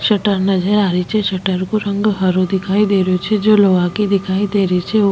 shutter नजर आ री छे शटर को रंग हरो दिखाई दे रेहो छे जो लोहा की दिखाई दे री छे औ --